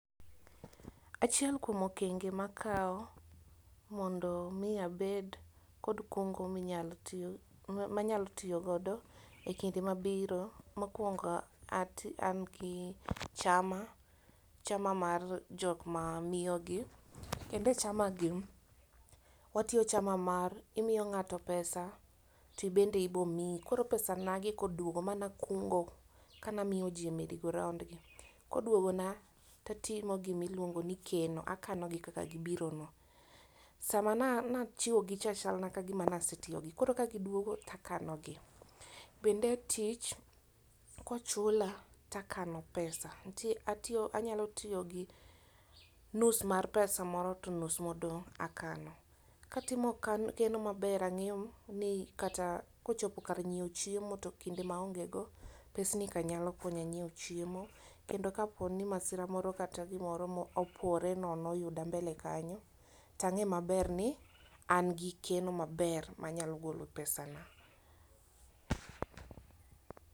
Achiel kuom okenge makawo mondo mi abed kod kungo manyalo tiyogo e kinde mabiro. Mokwongo an gi chama, chama mar jokma miyo gi. Kendo e chama gi, watiyo chama mar imiyo ng'ato pesa tibende ibomiyi. Koro pesa na gi kodwogo manakungo kanamiyoji e merry go round gi, koduogona tatimo gimiluongo ni keno, akano gi kaka gibirono. Sama nachiwogicha chalna kagima nasetiyogi koro kagidwogo takanogi. Bende tich kochula, takano pesa, anyalo tiyo gi nus mar pesa moro to nus modong' akano. Katimo keno maber ang'eyo ni kata kochopo kar nyiewo chiemo to kinde maonge go, pesni ka nyalo konya nyiewo chiemo. Kendo kapo ni masira moro kata gimoro mopore nono oyuda mbele kanyo, tang'e maber ni an gi keno maber manyalo golo pesana.